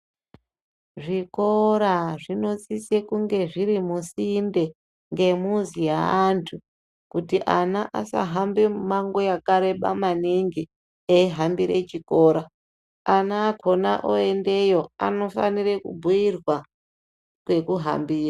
Zvikora zvinosisa kunge zviri musinde nemuzi wevantu kuti ana asahamba mimango yakareba maningi eihambira chikora ana akona woendeyo anofana kubhuirwa kwekuhambira.